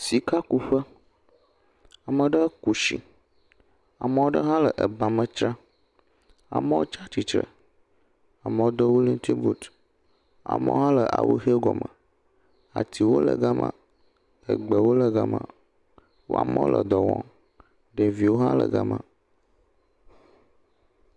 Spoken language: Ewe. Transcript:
Sikakuƒe, ame aɖe ku tsi, ame aɖe hã le ba me tsram, amewo tsi atsitre, amewo do wɔlintin buti, amewo hã le awu ʋi gɔme. Atiwo le gema, gbewo le gema, amewo le dɔ wɔm. Ɖeviwo hã le gema.